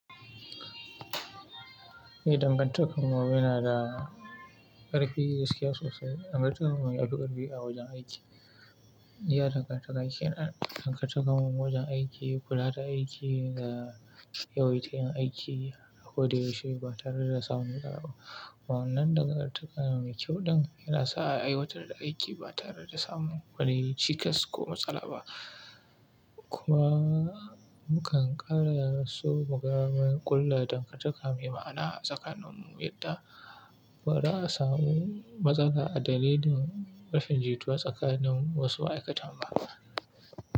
Ni dangartakanmu yana da ƙarfi gaskiya sosai. Dangartakanmu yafi ƙarfi a wajen aiki. Ya dangartar da aikin ɗan kataka mun wajen aiki, kula da aiki da yawayyi ta yin aiki, ko da yaushe ba tare da samun ƙara ba. Wa'annan ɗakatarwa mai kyau din yana sa a aiwatar da aiki ba tare da samun wani cikas ko matsala ba. Kuma mukan ƙara yin rasu magaman ƙulla dangantaka mai ma'ana tsakaninmu, yadda ba za a samu matsala a dalilin rashin jituwa tsakanin wasu ma'aikatan ba.